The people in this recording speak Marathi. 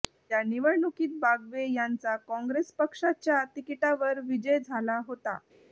या निवडणुकीत बागवे यांचा काँग्रेस पक्षाच्या तिकिटावर विजय झाला होता